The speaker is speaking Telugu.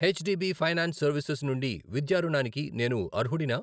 H D B finance services నుండి విద్యా రుణానికి నేను అర్హుడినా?